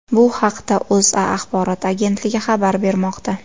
Bu haqda O‘zA axborot agentligi xabar bermoqda .